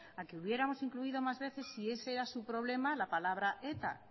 a que hubiéramos incluido más veces si ese era su problema la palabra eta